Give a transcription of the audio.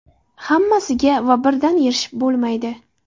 Hammasiga va birdan erishib bo‘lmaydi.